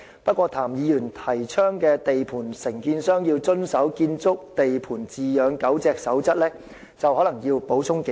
不過，對譚議員提倡的地盤承建商要遵守"建築地盤飼養狗隻守則"，我則可能要補充幾句。